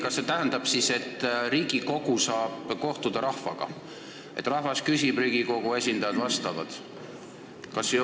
Kas see tähendab, et riigikogulased saavad kohtuda rahvaga, st rahvas küsib ja Riigikogu esindajad vastavad?